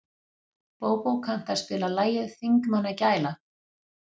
Bóbó, kanntu að spila lagið „Þingmannagæla“?